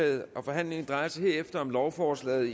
forhandlingen drejer sig herefter om lovforslaget